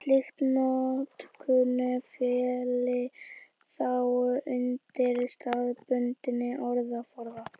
slík notkun félli þá undir staðbundinn orðaforða